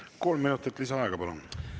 Kolm minutit lisaaega, palun!